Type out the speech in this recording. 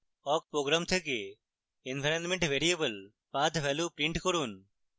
awk program থেকে environment variable path value print করুন